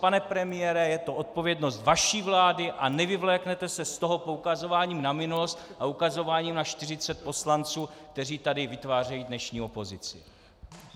Pane premiére, je to odpovědnost vaší vlády a nevyvléknete se z toho poukazováním na minulost a ukazováním na 40 poslanců, kteří tady vytvářejí dnešní opozici.